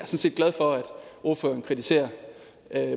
set glad for at ordføreren kritiserer